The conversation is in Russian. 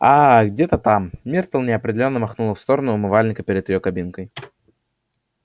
ааа где-то там миртл неопределённо махнула в сторону умывальника перед её кабинкой